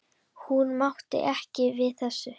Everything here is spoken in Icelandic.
Hún mátti ekki við þessu.